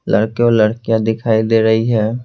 लड़के और लड़कियां दिखाई दे रही है।